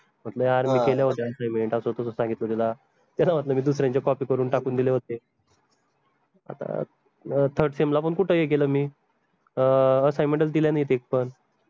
म्हंटल यार मी केले होते assignment असं तस सांगितलं त्याला त्याला म्हंटल मी दुसऱ्यांचे copy करून टाकून दिले होते आता अं third sem ला पन कुठं हे केलं मी अं assignment च दिल्या नाहीत एक पन